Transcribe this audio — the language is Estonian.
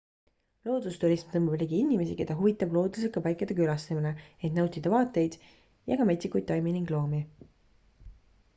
loodusturism tõmbab ligi inimesi keda huvitab looduslike paikade külastamine et nautida vaateid ja ka metsikuid taimi ning loomi